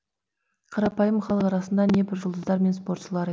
қарапайым халық арасында небір жұлдыздар мен спортшылыр